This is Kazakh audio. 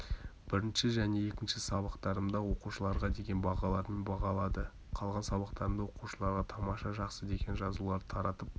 бірінші және екінші сабақтарымда оқушыларға деген бағалармен бағалады қалған сабақтарымда оқушыларға тамаша жақсы деген жазуларды таратып